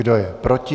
Kdo je proti?